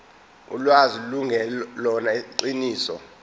ulwazi lungelona iqiniso